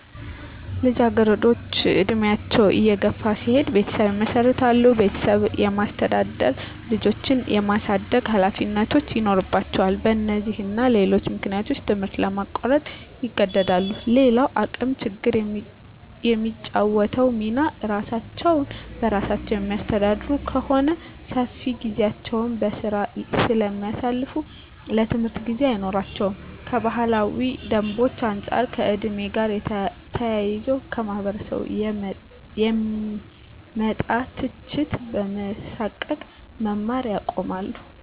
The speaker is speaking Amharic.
ልጃገረዶች እድሜያቸው እየገፋ ሲሄድ ቤተሰብ ይመሰርታሉ ቤተሰብ የማስተዳደር፣ ልጆች የማሳደግ ሀላፊነቶች ይኖርባቸዋል በነዚህና ሌሎች ምክንያቶች ትምህርት ለማቋረጥ ይገደዳሉ። _ሌላዉ የአቅም ችግር የሚጫወተዉ ሚና እራሳቸዉን በራሳቸዉ የሚያስተዳድሩ ከሆነ ሰፊ ጊዜያቸዉን በስራ ስለሚያሳልፋ ለትምህርት ጊዜ አይኖራቸውም _ከባህላዊ ደንቦች አንፃር ከ ዕድሜ ጋር ተያይዞ ከማህበረሰቡ የሚመጣ ትችት በመሳቀቅ መማር ያቆማሉ